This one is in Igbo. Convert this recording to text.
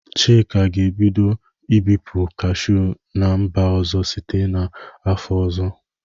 Chika ga-ebido ibụpu kashụ n'mba ọzọ site n 'afọ ọzọ.